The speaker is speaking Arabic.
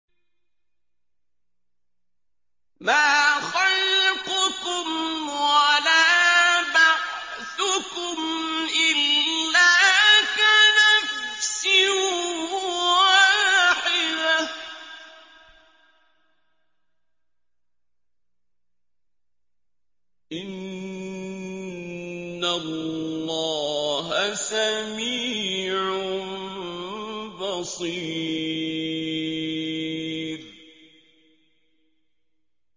مَّا خَلْقُكُمْ وَلَا بَعْثُكُمْ إِلَّا كَنَفْسٍ وَاحِدَةٍ ۗ إِنَّ اللَّهَ سَمِيعٌ بَصِيرٌ